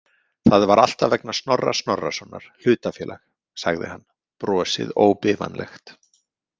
Það var alltaf vegna Snorra Snorrasonar hlutafélag, sagði hann, brosið óbifanlegt.